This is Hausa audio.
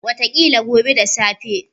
Wataƙila gobe da safe.